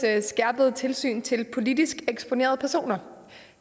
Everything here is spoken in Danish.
skærpede tilsyn til politisk eksponerede personer